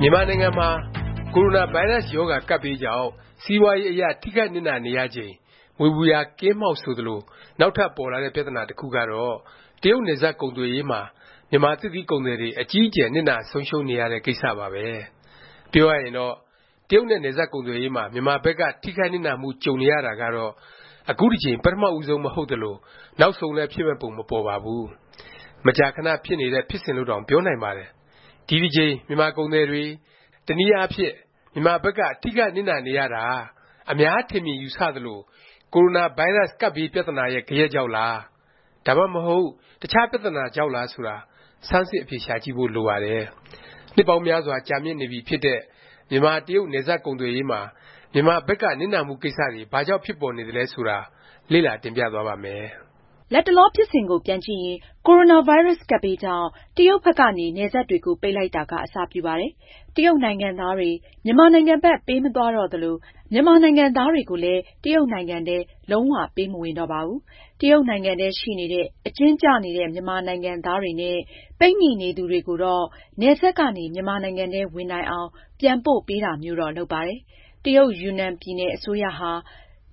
မြန်မာနိုင်ငံမှာ ကိုရိုနာဗိုင်းရပ်စ် ရောဂါ ကပ်ဘေးကြောင့် စီးပွားရေးအရ ထိခိုက်နစ်နာနေရချိန် မြွေပူရာကင်းမှောင့် ဆိုသလို နောက်ထပ် ပေါ်လာတဲ့ ပြသနာ တစ်ခုကတော့ တရုတ်နယ်စပ် ကုန်သွယ်ရေးမှာ မြန်မာ သစ်သီး ကုန်သည်တွေ အကြီးအကျယ် နစ်နာဆုံးရှုံးနေရတဲ့ ကိစ္စပါပဲ။ ပြောရရင်တော့ တရုတ်နဲ့ နယ်စပ်ကုန်သွယ်ရေးမှာ မြန်မာဘက်က ထိခိုက်နစ်နာမှု ကြုံနေရတာကတော့ အခုတစ်ကြိမ် ပထမဦးဆုံး မဟုတ်သလို၊ နောက်ဆုံးလည်း ဖြစ်မယ့် ပုံ မပေါ်ပါဘူး။ မကြာခဏ ဖြစ်နေတဲ့ ဖြစ်စဉ်လို့တောင် ပြောနိုင်ပါတယ်။ ဒီတစ်ကြိမ် မြန်မာကုန်သည်တွေ၊ တစ်နည်းအားဖြင့် မြန်မာဘက်က ထိခိုက်နစ်နာနေရတာ အများ ထင်မြင်ယူဆသလို ကိုရိုနာဗိုင်းရပ်စ် ကပ်ဘေး ပြသနာရဲ့ ဂယက်ကြောင့်လား၊ ဒါမှမဟုတ် တခြား ပြသနာကြောင့်လား ဆိုတာ ဆန်းစစ် အဖြေရှာကြည့်ဖို့ လိုပါတယ်။ နှစ်ပေါင်းများစွာ ကြာမြင့်နေပြီဖြစ်တဲ့ မြန်မာတရုတ် နယ်စပ် ကုန်သွယ်ရေးမှာ မြန်မာဘက်က နစ်နာမှုကိစ္စတွေ ဘာကြောင့် ဖြစ်ပေါ်နေသလဲ ဆိုတာ လေ့လာ တင်ပြသွားပါ့မယ်။ လတ်တလော ဖြစ်စဉ်ကို ပြန်ကြည့်ရင် ကိုရိုနာဗိုင်းရပ်စ် ကပ်ဘေးကြောင့် တရုတ်ဘက်ကနေ နယ်စပ်တွေကို ပိတ်လိုက်တာက အစပြုပါတယ်။ တရုတ်နိုင်ငံသားတွေ မြန်မာနိုင်ငံဘက် ပေးမသွားတော့သလို၊ မြန်မာနိုင်ငံသားတွေကိုလည်း တရုတ်နိုင်ငံထဲ လုံး၀ ပေးမဝင်တော့ပါဘူး။ တရုတ်နိုင်ငံထဲ ရှိနေတဲ့ အကျဉ်းကျနေတဲ့ မြန်မာနိုင်ငံသားတွေနဲ့ ပိတ်မိနေသူတွေကိုတော့ နယ်စပ်ကနေ မြန်မာနိုင်ငံထဲ ဝင်နိုင်အောင် ပြန်ပို့ပေးတာမျိုးတော့ လုပ်ပါတယ်။ တရုတ်၊ ယူနန်ပြည်နယ် အစိုးရဟာ